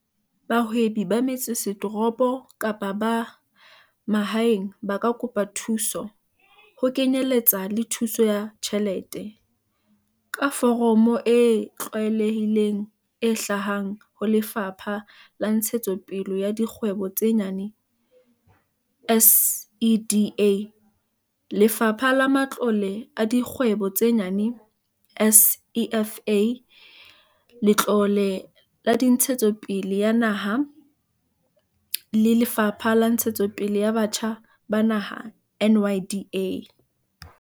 Bahwebi ba metsesetoropo kapa ba mahaeng ba ka kopa thuso, ho kenyeletsa le thuso ya tjhelete, ka foromo e tlwaelehileng e hlahang ho Lefapha la Ntshetsopele ya Dikgwebo tse Nyane, SEDA, Lefapha la Matlole a Dikgwebo tse Nyane, SEFA, Letlole la Ntshetsopele ya Naha, NEF, le Lefapha la Ntshetsopele ya Batjha ba Naha, NYDA.